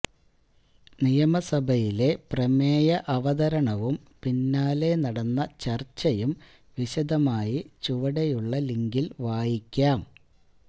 നിയമസഭയിലെ പ്രമേയ അവതരണവും പിന്നാലെ നടന്ന ചര്ച്ചയും വിശദമായി ചുവടെയുള്ള ലിങ്കില് വായിക്കാം